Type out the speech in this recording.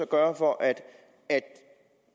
gøre for at